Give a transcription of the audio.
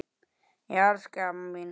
Ég elska þig amma mín.